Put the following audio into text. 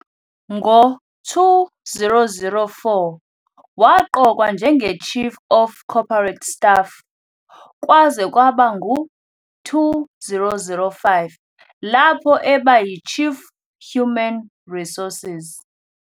Ngo-2004 waqokwa njengeChief of Corporate Staff kwaze kwaba ngu-2005, lapho eba yiChief Human Resources.